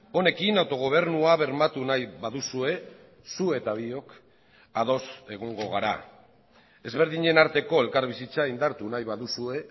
honekin autogobernua bermatu nahi baduzue zu eta biok ados egongo gara ezberdinen arteko elkarbizitza indartu nahi baduzue